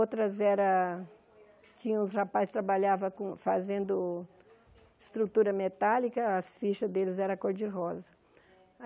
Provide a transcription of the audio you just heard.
Outras eram... Tinha uns rapazes que trabalhavam com fazendo estrutura metálica, as fichas deles eram cor de rosa.